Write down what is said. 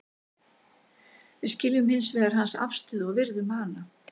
Við skiljum hins vegar hans afstöðu og virðum hana.